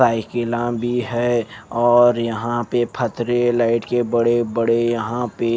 cycle भी है और यहां पे फ़तरे लाइट के बड़े-बड़े यहां पे --